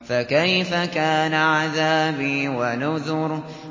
فَكَيْفَ كَانَ عَذَابِي وَنُذُرِ